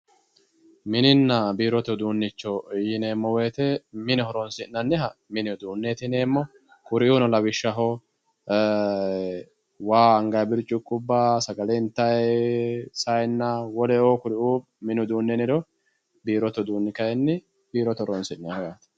Mininna biirote uduunicho yineemmo woyte mine horonsi'nanniha mini uduuneti yineemmo kuriuno lawishshaho waa anganni biriciqubba, sagale intanni zayinna woleno kuriu mini uduune yinniro, biirote uduuni kayinni biirote horonsi'nanniho yaate.